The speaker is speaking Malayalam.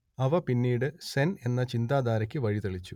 അവ പിന്നീട് സെൻ എന്ന ചിന്താധാരക്ക് വഴിതെളിച്ചു